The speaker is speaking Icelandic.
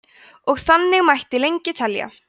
og þannig mætti lengi telja